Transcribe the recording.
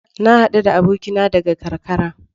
Na hadu da abokina daga karkara.